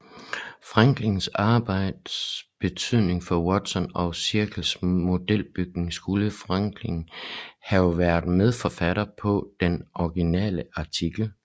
Franklins arbejdes betydning for Watson og Cricks modelbygning skulle Franklin have været medforfatter på den originale artikel